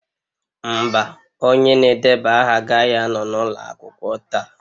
Mba, onye na-edeba aha agaghị anọ n'ụlọ akwụkwọ taa.